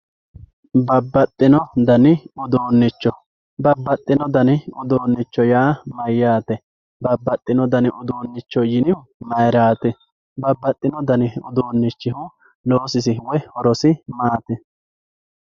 Babaxino dani uduunicho babaxino dani uduunicho yaa mayate babaxino dani udunicho yinihu mayirati babaxino dani udunichi loosisi woyi horosi maati